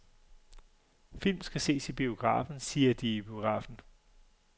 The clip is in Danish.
Film skal ses i biografen, siger de i biografen.